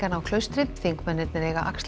á Klaustri þingmennirnir eiga að axla